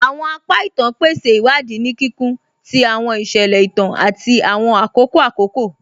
Awọn apa ìtàn pèsè iwadi ni kíkún tì awọn iṣẹlẹ ìtàn àti awọn akókò akókò.